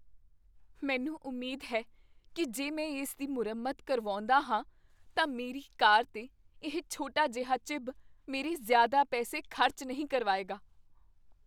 ਮੈਨੂੰ ਉਮੀਦ ਹੈ ਕੀ ਜੇ ਮੈਂ ਇਸਦੀ ਮੁਰੰਮਤ ਕਰਵਾਉਂਦਾ ਹਾਂ ਤਾਂ ਮੇਰੀ ਕਾਰ 'ਤੇ ਇਹ ਛੋਟਾ ਜਿਹਾ ਚਿੱਬ ਮੇਰੇ ਜ਼ਿਆਦਾ ਪੈਸੇ ਖ਼ਰਚ ਨਹੀਂ ਕਰਵਾਇਗਾ।